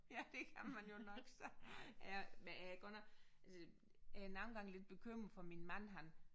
Ja det kan man jo nok sige ja men jeg er godt nok altså jeg er nogle gange lidt bekymret for min mand han